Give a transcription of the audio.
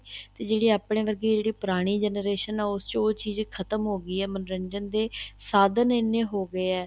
ਜਿਹੜੇ ਆਪਣੇ ਵਰਗੇ ਜਿਹੜੀ ਪੁਰਾਣੀ generation ਆ ਉਸ ਚ ਉਹ ਚੀਜ਼ ਖ਼ਤਮ ਹੋ ਗਈ ਏ ਮਨੋਰੰਜਨ ਦੇ ਸਾਧਨ ਐਨੇ ਹੋ ਗਏ ਏ